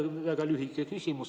Mul on väga lühike küsimus.